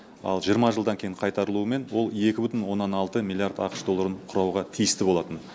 ал жиырма жылдан кейін қайтарылуымен ол екі бүтін оннан алты миллиард ақш долларын құрауға тиісті болатын